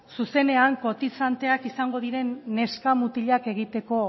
zuzenean kotizanteak izango diren neska mutilak egiteko